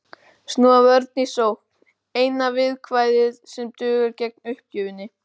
Snúa vörn í sókn, eina viðkvæðið sem dugar gegn uppgjöfinni.